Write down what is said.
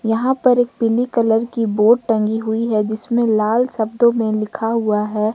यहां पर एक पीली कलर की बोर्ड टंगी हुई है जिसमें लाल शब्दों में लिखा हुआ है।